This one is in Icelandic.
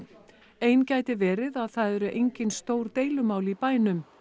ein gæti verið að það eru engin stór deilumál í bænum